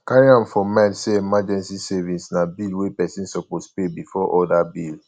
carry am for mind sey emergency savings na bill wey person suppose pay before oda bill